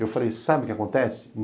Eu falei, sabe o que acontece?